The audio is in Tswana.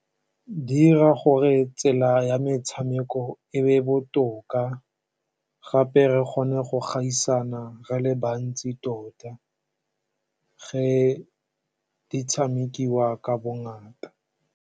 Di dira gore tsela ya metshameko e nne botoka, gape re kgone go gaisana re le bantsi tota fa di tshamekiwa ka bongata.